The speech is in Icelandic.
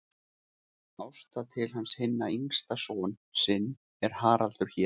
Ásta til hans hinn yngsta son sinn er Haraldur hét.